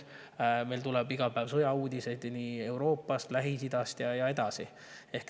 Iga päev tuleb sõjauudiseid Euroopast, Lähis-Idast ja nii edasi.